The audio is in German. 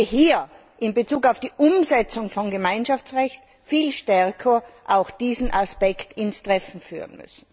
Hier müssen wir in Bezug auf die Umsetzung von Gemeinschaftsrecht viel stärker auch diesen Aspekt ins Treffen führen.